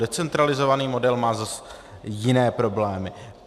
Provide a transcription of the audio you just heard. Decentralizovaný model má zas jiné problémy.